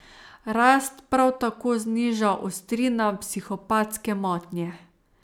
Rast prav tako zniža ostrina psihopatske motnje.